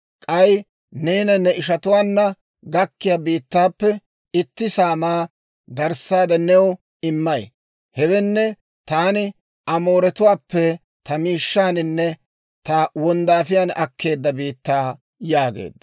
K'ay neena ne ishatuwaanna gakkiyaa biittaappe itti saamaa darissaade new immay; hewenne taani Amooratuwaappe ta mashshaaninne ta wonddaafiyaan akkeedda biittaa» yaageedda.